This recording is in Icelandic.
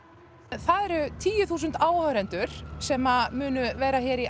það eru tíu þúsund áhorfendur sem munu verða hér í